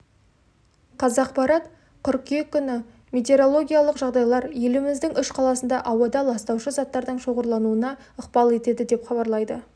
қазақпарат қыркүйек күні метеорологиялық жағдайлар еліміздің үш қаласында ауада ластаушы заттардың шоғырлануына ықпал етеді деп хабарлайды